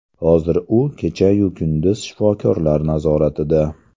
Hozir u kechayu kunduz shifokorlar nazoratida.